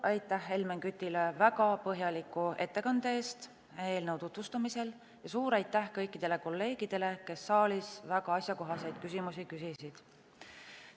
Suur aitäh Helmen Kütile väga põhjaliku ettekande eest eelnõu tutvustamisel ja suur aitäh kõikidele kolleegidele, kes saalis väga asjakohaseid küsimusi küsisid.